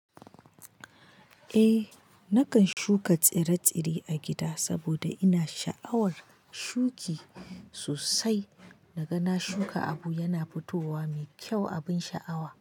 Eh nakan shuka tsire-tsire a gida saboda ina sha'awar shuki sosai. Naga na shuka abu yana fitowa mai kyau abin sha'awa.